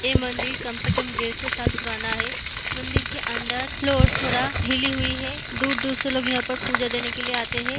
ए मंदिर कम से कम डेढ़ सौ साल पुराना है मंदिर के अंदर फ्लोर थोड़ा हिली हुई है दूर-दूर से लोग यहाँ पर पूजा देने के लिए आते है।